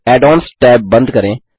add ons tab बंद करें